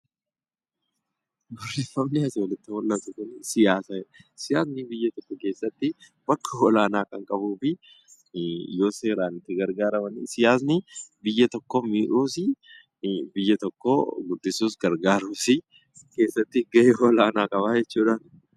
Barreeffamni asii olitti argamu kun siyaasa jedha. Siyaasni biyya tokko keessatti bakka olaanaa kan qabuu fi yoo seeraan itti gargaaramne, siyaasni biyya tokko miidhuus, biyya tokko guddisuus gargaaruus keessatti gahee olaanaa qaba jechuudha.